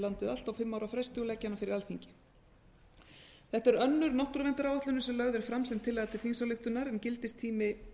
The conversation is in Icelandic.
landið allt á fimm ára fresti og leggja hana fyrir alþingi þetta er önnur náttúruverndaráætlunin sem lögð er fram sem tillaga til þingsályktunar en gildistími